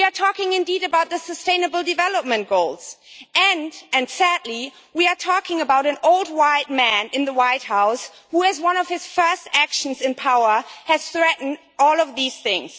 We are talking, indeed, about the Sustainable Development Goals, and, sadly, we are talking about an old white man in the White House who, in one of his first actions in power, has threatened all of these things.